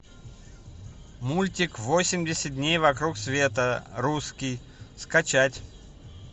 мультик восемьдесят дней вокруг света русский скачать